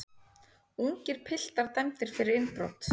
Ungir piltar dæmdir fyrir innbrot